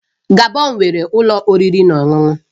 Gabon nwere ụlọ oriri na ọṅụṅụ